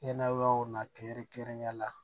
Hɛrɛlaw na kɛrɛnkɛrɛnnenya la